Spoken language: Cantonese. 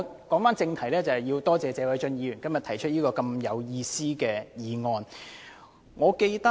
返回正題，我要多謝謝偉俊議員今天提出這項有意思的議案。